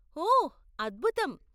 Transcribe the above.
ఓహ్, అద్భుతం.